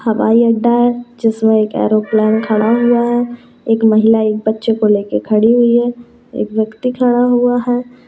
हवाई अड्डा है जिसमें एक एरोप्लेन खड़ा हुआ है एक महिला एक बच्चे को लेके खड़ी हुई है एक व्यक्ति खड़ा हुआ है।